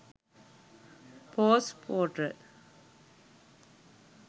post portal